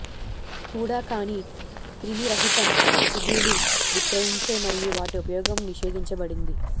కూడా కాని క్రిమిరహితం సూదులు విక్రయించే మరియు వాటి ఉపయోగం నిషేధించబడింది